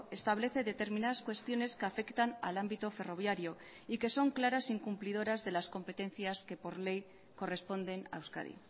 establece determinadas cuestiones que afectan al ámbito ferroviario y que son claras incumplidoras de las competencias que por ley corresponden a euskadi